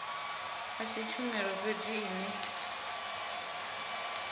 a si tshumelo fhedzi ine